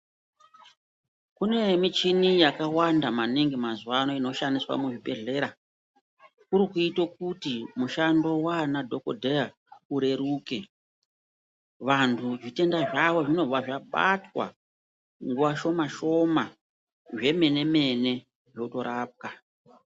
Kune michini yakawanda maningi mazuva ano inoshandiswa mu zvibhedhlera kuri kuite kuti mushando wana dhokodheya ureruke vantu zvitenda zvavo zvinobva zvabatwa mu nguva shoma shoma zve mene mene zvoto rapwa.